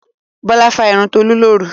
Bàbá fá irun Tolú lóru.